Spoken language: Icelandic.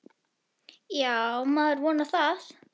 Já, maður vonar það.